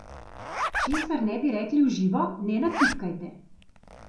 Česar ne bi rekli v živo, ne natipkajte!